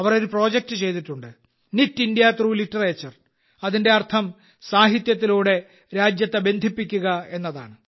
അവർ ഒരു പ്രോജക്റ്റ് ചെയ്തിട്ടുണ്ട് knit India through literature അതിന്റെ അർത്ഥം സാഹിത്യത്തിലൂടെ രാജ്യത്തെ ബന്ധിപ്പിക്കുക എന്നതാണ്